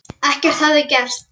Ekkert hefði gerst.